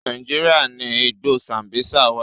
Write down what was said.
Nàíjíríà ni igbó Sambisa wà.